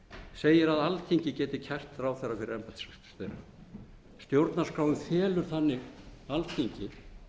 segir að alþingi geti kært ráðherra fyrir embættisverk þeirra stjórnarskráin felur þannig alþingi